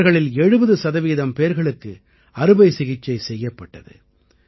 இவர்களில் 70 சதவீதம் பேர்களுக்கு அறுவை சிகிச்சை செய்யப்பட்டது